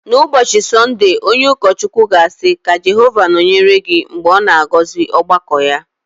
N’ụbọchị Sọnde, onye ụkọchukwu ga-asị “Ka Jehova nọnyere gị” Mgbe ọ na-agọzi ọgbakọ ya